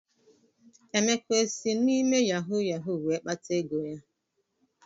Emeka esi na-ịme yahu yahu wee kpata ego ya?